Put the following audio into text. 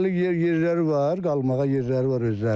Hələlik yer yerləri var, qalmağa yerləri var özlərinin.